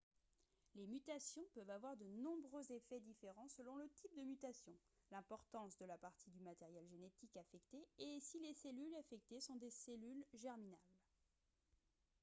les mutations peuvent avoir de nombreux effets différents selon le type de mutation l'importance de la partie du matériel génétique affectée et si les cellules affectées sont des cellules germinales